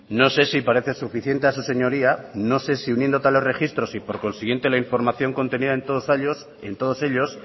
no sé si le parece suficiente a su señoría no sé si uniendo tales registros y por consiguiente la información contenida en todos ellos